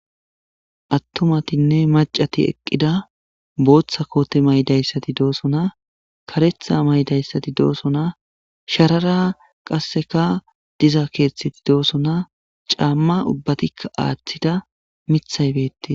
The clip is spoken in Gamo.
Attumatinne maccati eqqida; booththa koote mayidayssati doosona; kareththa mayidayssati doosona; sharara qasseka diza keeththeti doosona; caamma ubbatikka aaththida; miththay beettees.